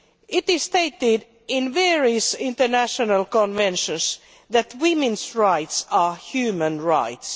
It is stated in various international conventions that women's rights are human rights.